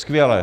Skvěle.